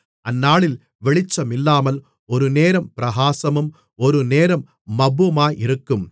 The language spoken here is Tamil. அந்நாளில் வெளிச்சம் இல்லாமல் ஒருநேரம் பிரகாசமும் ஒருநேரம் மப்புமாயிருக்கும்